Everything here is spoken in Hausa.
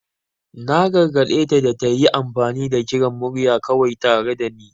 Na gargade ta da ta yi amfani da kiran murya kawai tare da ni.